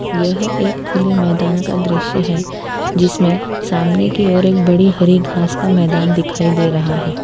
यह एक खुले मैदान का दृश्य है जिसमें सामने की ओर एक बड़ी हरी घास का मैदान दिखाई दे रहा है।